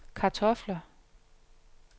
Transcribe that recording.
kartofler